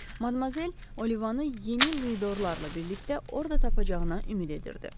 Madmazel Olivanı yeni Luidorlarla birlikdə orada tapacağına ümid edirdi.